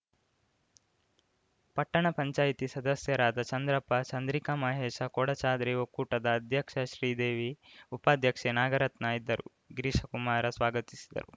ಪಟ್ಟಣ ಪಂಚಾಯಿತಿ ಸದಸ್ಯರಾದ ಚಂದ್ರಪ್ಪ ಚಂದ್ರಿಕಾ ಮಹೇಶ ಕೊಡಚಾದ್ರಿ ಒಕ್ಕೂಟದ ಅಧ್ಯಕ್ಷ ಶ್ರೀದೇವಿ ಉಪಾಧ್ಯಕ್ಷೆ ನಾಗರತ್ನ ಇದ್ದರು ಗಿರೀಶ ಕುಮಾರ ಸ್ವಾಗತಿಸಿದರು